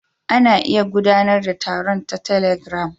Ana iya gudanar da taron ta telegram.